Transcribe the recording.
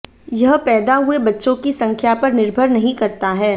यह पैदा हुए बच्चों की संख्या पर निर्भर नहीं करता है